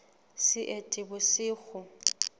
seetebosigo